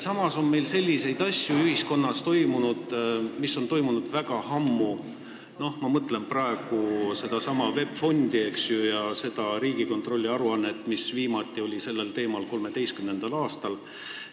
Samas on meil selliseid asju, mis on ühiskonnas toimunud väga ammu – ma mõtlen näiteks sedasama VEB Fondi ja Riigikontrolli aruannet, mis viimati oli sellel teemal 2013. aastal.